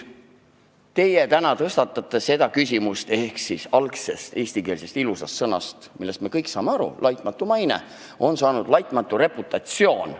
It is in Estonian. Te täna tõstatasite küsimuse, miks on algsest ilusast eestikeelsest sõnapaarist "laitmatu maine", millest me kõik saame aru, saanud "laitmatu reputatsioon".